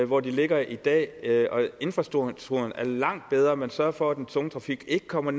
hvor de ligger i dag og infrastrukturen er langt bedre man sørger for at den tunge trafik ikke kommer